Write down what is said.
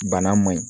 Bana man ɲi